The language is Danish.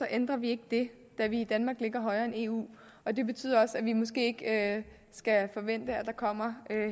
ændrer vi ikke det da vi i danmark ligger højere end eu og det betyder også at vi måske ikke skal forvente at der kommer